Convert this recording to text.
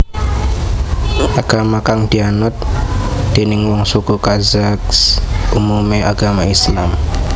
Agama kang dianut déning wong suku Kazakh umumé agama Islam